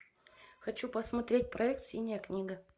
хочу посмотреть проект синяя книга